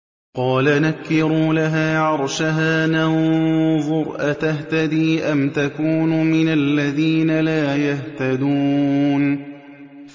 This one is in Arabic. قَالَ نَكِّرُوا لَهَا عَرْشَهَا نَنظُرْ أَتَهْتَدِي أَمْ تَكُونُ مِنَ الَّذِينَ لَا يَهْتَدُونَ